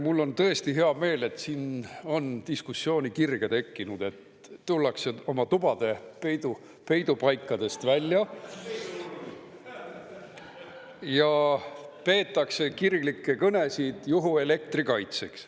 Mul on tõesti hea meel, et siin on diskussiooni kirge tekkinud, et tullakse oma tubade peidupaikadest välja ja peetakse kirglikke kõnesid juhuelektri kaitseks.